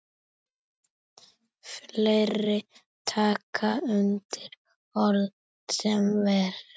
Fleiri taka undir orð hennar.